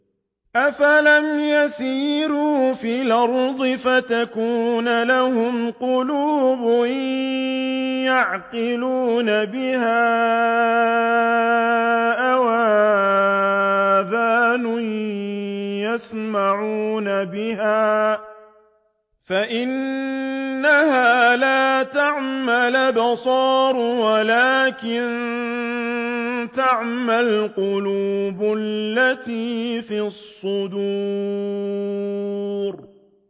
أَفَلَمْ يَسِيرُوا فِي الْأَرْضِ فَتَكُونَ لَهُمْ قُلُوبٌ يَعْقِلُونَ بِهَا أَوْ آذَانٌ يَسْمَعُونَ بِهَا ۖ فَإِنَّهَا لَا تَعْمَى الْأَبْصَارُ وَلَٰكِن تَعْمَى الْقُلُوبُ الَّتِي فِي الصُّدُورِ